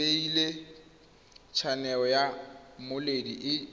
bile tshaneo ya mmoledi e